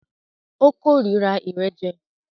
O kòrira ìrẹ́jẹ.